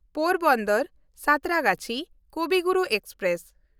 ᱯᱳᱨᱵᱚᱱᱫᱚᱨ–ᱥᱟᱸᱛᱨᱟᱜᱟᱪᱷᱤ ᱠᱚᱵᱤ ᱜᱩᱨᱩ ᱮᱠᱥᱯᱨᱮᱥ